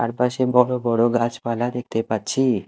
তার পাশে বড় বড় গাছপালা দেখতে পাচ্ছি।